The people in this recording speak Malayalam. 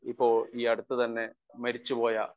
സ്പീക്കർ 1 ഇപ്പോൾ ഈയടുത്തുതന്നെ മരിച്ചുപോയ